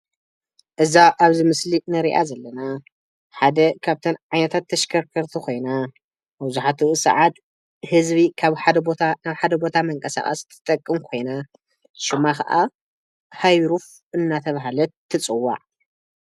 እዛ ኣብዚ ምስሊ ንሪኣ ዘለና ሓደ ካብተን ዓይነታት ተሽከርከርቲ ኮይና መብዛሕትኡ ሰዓት ህዝቢ ካብ ሓደ ቦታ ናብ ሓደ ቦታ መንቀሳቀሲ ትጠቅም ኮይና ሽማ ከዓ ሃይሩፍ እናተበሃለት ትፅዋዕ።